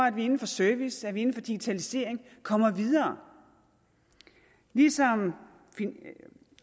at vi inden for service at vi inden for digitalisering kommer videre ligesom